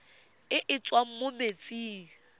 e e tswang mo metsing